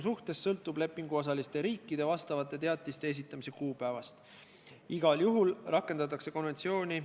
Sisuline mõtlemine on see, et erand kohustuse täitmisel tähendab seda, et perioodi lõpul peab kohustuse ikkagi käiku võtma.